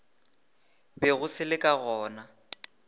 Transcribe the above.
bego se le ka gona